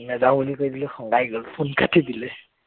নেজাও বুলি কৈ দিলো খঙাই গল phone কাটি দিলে